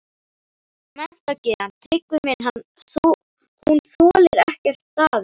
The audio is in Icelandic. Menntagyðjan, Tryggvi minn, hún þolir ekkert daður!